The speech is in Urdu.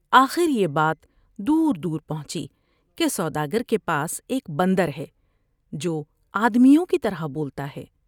آخر یہ بات دور دور پہنچی کہ سوداگر کے پاس ایک بندر ہے جو آدمیوں کی طرح بولتا ہے ۔